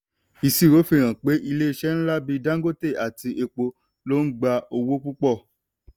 ìṣirò fihan pé ilé iṣẹ́ ńlá bí dangote àti epo ló ń gba owó púpọ̀.